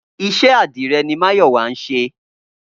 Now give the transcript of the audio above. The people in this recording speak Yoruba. Iṣẹ́ àdìrẹ ni Máyọ̀wá ń ṣe